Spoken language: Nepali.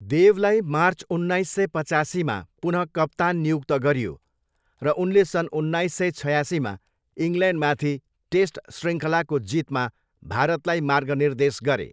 देवलाई मार्च उन्नाइस सय पासीमा पुन कप्तान नियुक्त गरियो र उनले सन् उन्नाइस सय छयासीमा इङ्ल्यान्डमाथि टेस्ट शृङ्खलाको जितमा भारतलाई मार्गनिर्देश गरे।